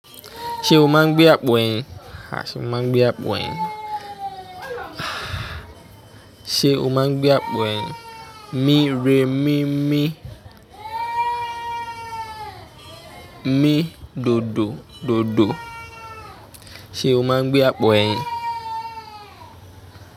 Ṣé o máa ń gbé àpò ẹyin? À! Ṣẹ́ mi máa ń gbé àpò ẹyin. Ṣé o máa ń gbé àpò ẹyin? Mí, re, mí, mí. Mí, dodo, dodo. Ṣé o máa ń gbé àpò ẹyin?